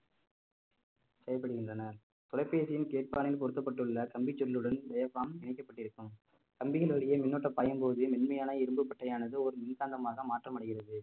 செயல்படுகின்றன தொலைபேசியின் கேட்பானில் பொருத்தப்பட்டுள்ள கம்பி சுருளுடன் இணைக்கப்பட்டிருக்கும் கம்பிகள் வழியே மின்னூட்டம் பாயும்போது மென்மையான இரும்பு பட்டையானது ஒரு மின்காந்தமாக மாற்றமடைகிறது